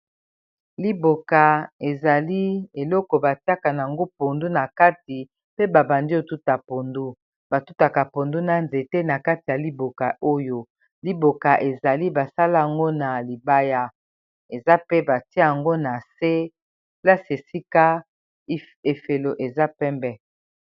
liboka ezali eloko batiaka nango pondu na kati pe babandi otuta pondu batutaka pondu na nzete na kati ya liboka oyo liboka ezali basala yango na libaya eza pe batia yango na se plasi esika efelo eza pembe